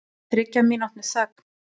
Þriggja mínútna þögn